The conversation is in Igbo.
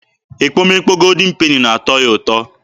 Ekpomekpo Goldin Peni na-atọ ya ụtọ.